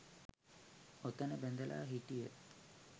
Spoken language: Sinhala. ඔතන බැඳලා හිටිය